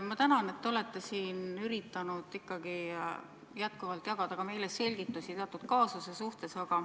Ma tänan, et olete siin üritanud jagada meile selgitusi teatud kaasuse suhtes.